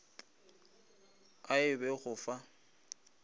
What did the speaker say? a e be go fa